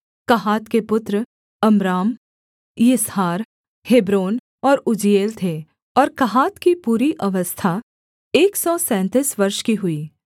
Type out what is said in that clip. कहात के पुत्र Amram Izhar Hebron और उज्जीएल थे और कहात की पूरी अवस्था एक सौ सैंतीस वर्ष की हुई